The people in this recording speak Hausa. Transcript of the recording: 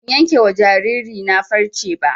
Ban yanke wa jariri na farce ba